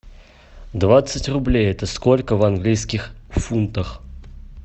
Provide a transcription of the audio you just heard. двадцать рублей это сколько в английских фунтах